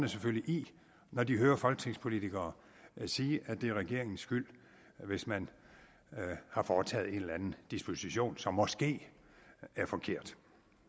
selvfølgelig i når de hører folketingspolitikere sige at det er regeringens skyld hvis man har foretaget en eller anden disposition som måske er forkert